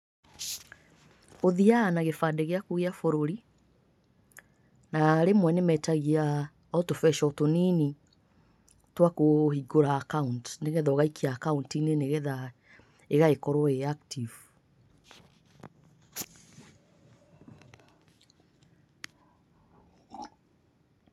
Ũthiaga na kĩbandĩ gĩaku gĩa bũrũri na rĩmwe nĩmetagia o tũbeca o tũnini twa kũhingũra account, nĩgetha ũgaikia account-inĩ, nĩgetha ĩgagĩkorwo ĩrĩ active.